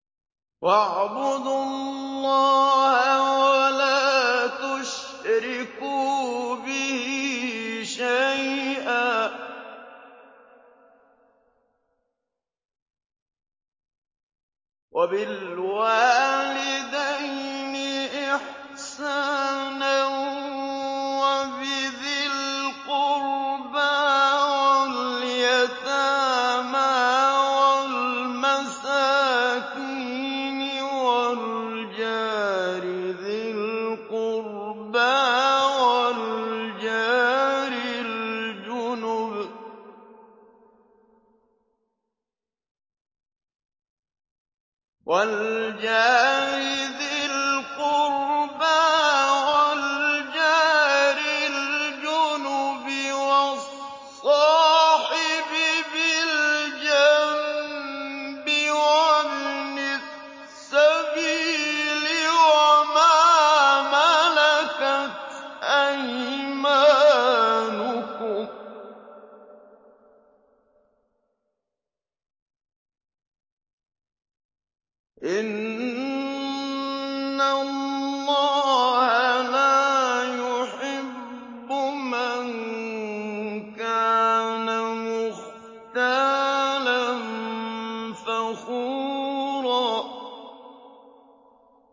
۞ وَاعْبُدُوا اللَّهَ وَلَا تُشْرِكُوا بِهِ شَيْئًا ۖ وَبِالْوَالِدَيْنِ إِحْسَانًا وَبِذِي الْقُرْبَىٰ وَالْيَتَامَىٰ وَالْمَسَاكِينِ وَالْجَارِ ذِي الْقُرْبَىٰ وَالْجَارِ الْجُنُبِ وَالصَّاحِبِ بِالْجَنبِ وَابْنِ السَّبِيلِ وَمَا مَلَكَتْ أَيْمَانُكُمْ ۗ إِنَّ اللَّهَ لَا يُحِبُّ مَن كَانَ مُخْتَالًا فَخُورًا